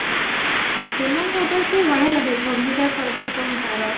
ଶ୍ରୀମାନ ସୁର ଦାସ ବଢିଆ ଲାଗେ ଭୂମିକା ସହିତ ଯୋଉ ତାର